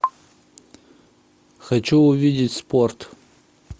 хочу увидеть спорт